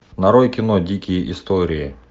нарой кино дикие истории